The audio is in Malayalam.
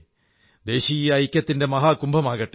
ദേശീയ ഐക്യത്തിന്റെ മഹാകുംഭമാകട്ടെ